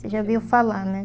Você já ouviu falar, né?